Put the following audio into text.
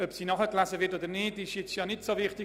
Ob sie nachgelesen wird oder nicht, ist weniger wichtig.